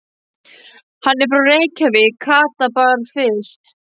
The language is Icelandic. Hann er frá Reykjavík, Kata var byrst.